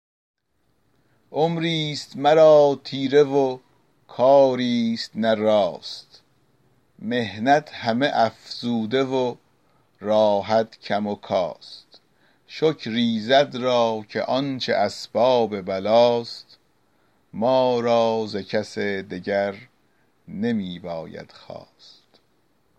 عمری ست مرا تیره و کاری ست نه راست محنت همه افزوده و راحت کم و کاست شکر ایزد را که آنچه اسباب بلا ست ما را ز کس دگر نمی باید خواست